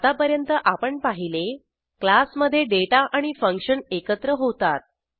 आतापर्यंत आपण पाहिले क्लासमधे डेटा आणि फंक्शन एकत्र होतात